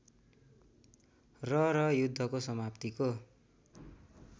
र र युद्धको समाप्तिको